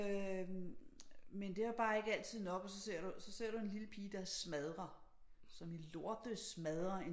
Øh men det er bare ikke altid nok og så ser du og så ser du en lille pige som smadrer som i lortesmadrer en